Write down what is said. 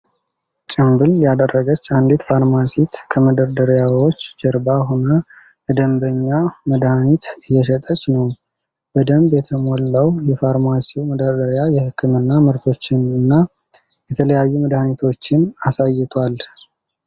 ጭንብል ያደረገች አንዲት ፋርማሲስት ከመደርደሪያዎች ጀርባ ሆና ለደንበኛ መድሃኒት እየሸጠች ነው። በደንብ የተሞላው የፋርማሲው መደርደሪያ የህክምና ምርቶችን እና የተለያዩ መድሃኒቶችን አሳይቷል።